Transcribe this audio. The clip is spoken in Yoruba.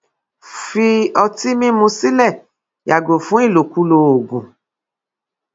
fi ọtí mímu sílẹ yàgò fún ìlòkulò oògùn